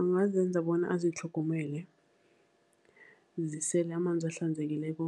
Angazenza bona azitlhogomele, zisele amanzi ahlanzekileko